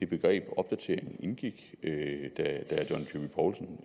begrebet opdatering indgik da herre john dyrby paulsen